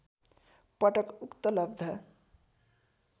पटक उक्त लब्ध